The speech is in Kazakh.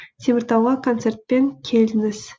теміртауға концертпен келдіңіз